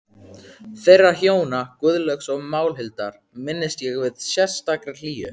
Þeirra hjóna, Guðlaugs og Málhildar, minnist ég með sérstakri hlýju.